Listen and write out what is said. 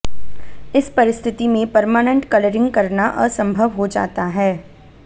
इस परिस्थिति मंे पर्मानेंट कलरिंग करना असंभव हो जाता है